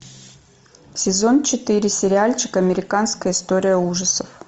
сезон четыре сериальчик американская история ужасов